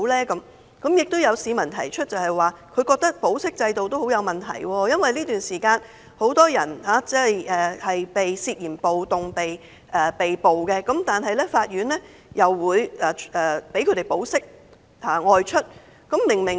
此外，有市民認為保釋制度也很有問題，因為這段時間有很多人涉嫌暴動被捕，但法庭會批准他們保釋外出。